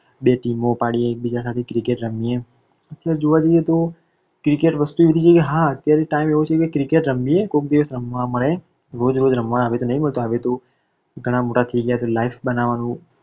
બે team ઓપાડીએ એકબીજા સાથે cricket રમીએ અત્યારે જોવા જઈએ તો cricket વસ્તુ એવી છે કે હ અત્યારે time એવો છે કે cricket રમીએ કોઈક દિવસ રમવા મળે રોજ રોજ રમવા આવી રીતે નઇ મળતું આવી રીતે ઘણા મોટા થઈ ગયા એટલે life બનાવવાનું.